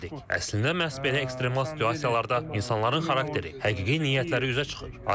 Əslində məhz belə ekstremal situasiyalarda insanların xarakteri, həqiqi niyyətləri üzə çıxır.